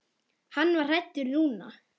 Hann var hræddur núna.